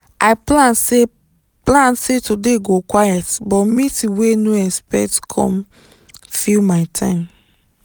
i plan say plan say today go quiet but meeting wey no expect come fill my time